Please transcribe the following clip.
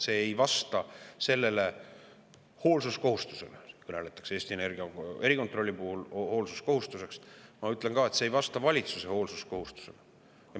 See ei vasta hoolsuskohustusele – Eesti Energia erikontrolli puhul kõneldakse hoolsuskohustusest –, ma ütlen, et see ei vasta valitsuse hoolsuskohustusele.